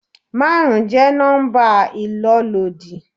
Márùn-ún jẹ́ nọ́mbà ìlólòdí.